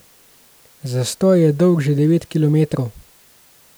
Zastoj je dolg že devet kilometrov.